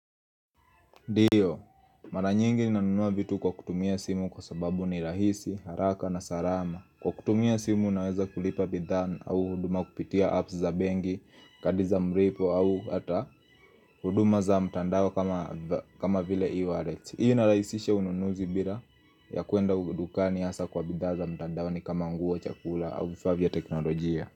Dio, mara nyingi nanunua vitu kwa kutumia simu kwa sababu ni rahisi, haraka na sarama Kwa kutumia simu naweza kulipa bidhana au huduma kupitia apps za bengi, kadiza mripo au hata Huduma za mtandao kama vile e-wallet Iyu nalaisisha ununuzi bila ya kuenda udukani hasa kwa bidha za mtandao ni kama nguo chakula au vifavya teknolojia.